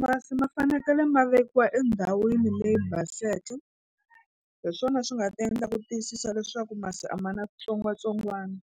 Masi ma fanekele ma vekiwa endhawini leyi baseke hi swona swi nga ta endla ku tiyisisa leswaku masi a ma na switsongwatsongwana